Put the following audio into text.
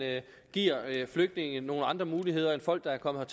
giver flygtninge nogle andre muligheder end folk der er kommet